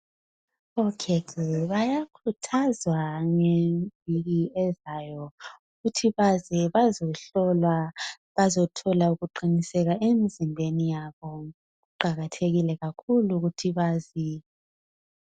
Okhekhe bayakhuthazwa ngeviki ezayo ukuthi beze bazehlolwa. Bazethola ukuqiniseka emzimbeni yabo. Kuqakathekile kakhulu ukuthi beze.